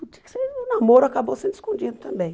Então tinha que ser namoro acabou sendo escondido também.